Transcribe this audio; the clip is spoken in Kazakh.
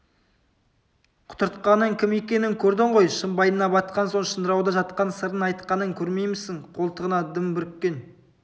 құтыртқанның кім екенін көрдің ғой шымбайына батқан соң шыңырауда жатқан сырын айтқанын көрмеймісің қолтығына дым бүріккен